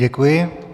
Děkuji.